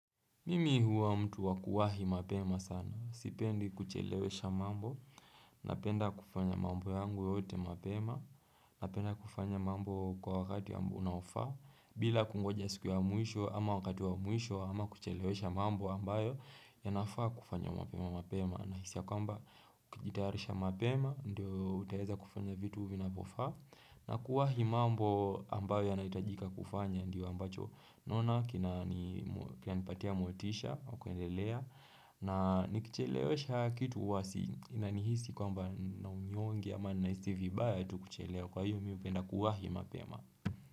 Mimi huwa mtu wakuwahi mapema sana, sipendi kuchelewesha mambo, napenda kufanya mambo yangu yote mapema, napenda kufanya mambo kwa wakati ambao unafaa, bila kungoja siku wa mwisho ama wakati wa mwisho ama kuchelewesha mambo ambayo ya nafaa kufanya mapema mapema. Nahisi ya kwamba ukijitayarisha mapema ndiyo utaweza kufanya vitu vina vyofaa na kuwahi mambo ambayo yanayohitajika kufanya ndiyo ambacho naona kina nipatia motisha wa kuendelea na nikichelewesha kitu huwasi ninahisi kwamba nina unyonge ama na hisi vibaya tu kuchelewa kwa hiyo mi mi hupenda kuwahi mapema.